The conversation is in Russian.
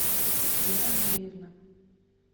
вера андреевна